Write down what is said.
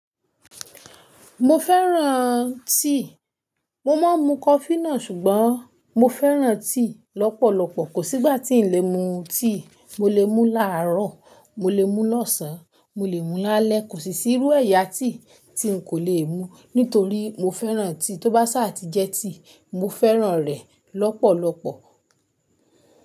Mo fẹ́ràn tea, mo máa ń mu coffee náà ṣùgbọ́n mo fẹ́ràn tea lọ́pọ̀lọpọ̀. Kò sí ìgbà tí ń lè mu tea, mo lè mú láàárọ̀, mo lè mú lọ́sàn án, mo lè mú lálẹ́. Kò sí sírú ẹ̀yà tea tí n kò lè mu nítorí mo fẹ́ràn tea. Tó bá ṣáà ti jẹ́ tea, mo fẹ́ràn rẹ̀ lọ́pọ̀lọpọ̀.